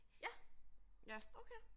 Ja. Okay